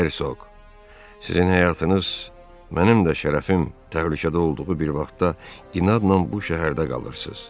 Hercoq, sizin həyatınız, mənim də şərəfim təhlükədə olduğu bir vaxtda inadla bu şəhərdə qalırsınız.